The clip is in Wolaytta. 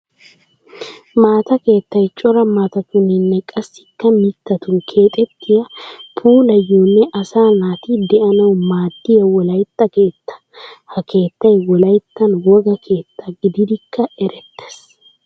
Maata keettay cora maatatuninne qassikka mittatun keexxettiya puulayonne asaa naati de'anawu maadiya wolaytta keetta. Ha keettay wolayttan wogaa keetta gididikka eretees.